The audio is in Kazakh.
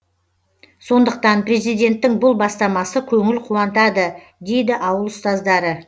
сондықтан президенттің бұл бастамасы көңіл қуантады дейді ауыл ұстаздары